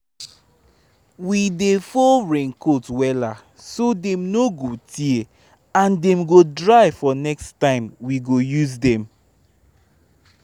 we dey fold raincoats wella so dem no go tear and dem go dry for next time we go use dem